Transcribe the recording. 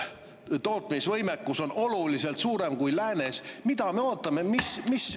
… tootmise võimekus on oluliselt suurem kui lääne võimekus, siis mida me ootame?